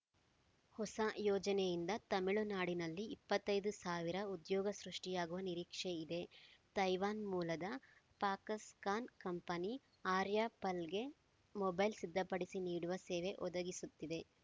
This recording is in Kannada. ಹೊಸ ಯೋಜನೆಯಿಂದ ತಮಿಳುನಾಡಿನಲ್ಲಿ ಇಪ್ಪತ್ತೈದು ಸಾವಿರ ಉದ್ಯೋಗ ಸೃಷ್ಟಿಯಾಗುವ ನಿರೀಕ್ಷೆ ಇದೆ ತೈವಾನ್‌ ಮೂಲದ ಫಾಕ್ಸ್‌ಕಾನ್‌ ಕಂಪನಿ ಆರ್ಯ ಪಲ್‌ಗೆ ಮೊಬೈಲ್‌ ಸಿದ್ಧಪಡಿಸಿ ನೀಡುವ ಸೇವೆ ಒದಗಿಸುತ್ತಿದೆ